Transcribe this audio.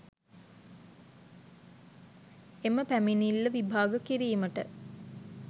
එම පැමිණිල්ල විභාග කිරීමට